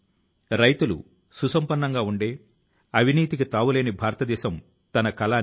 మరింత గా కృషి చేయాల్సింది అని ఆలోచిస్తూ ఎన్నడూ పడక మీదకు చేరుకోవద్దు